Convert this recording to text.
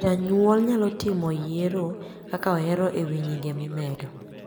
Janyuol nyalo timo yiro kaka ohero ewi Nyinge mimedo